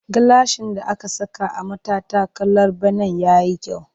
Gilashin da aka saka a matattakalar benen ya yi kyau